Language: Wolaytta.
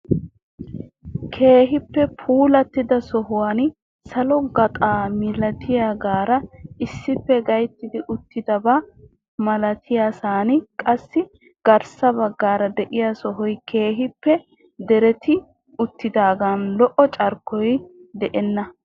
Keehippe puulatida sohuwan salo gaxxaa milatiyaagaara issippe gaytti uttidaaba malatiyaasan qassi garssa baggaara de'iyaa sohoy keehippe dereti uttidaagan lo"o carkkoy de'enna.